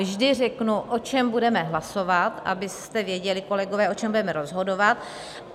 Vždy řeknu, o čem budeme hlasovat, abyste věděli, kolegové, o čem budeme rozhodovat.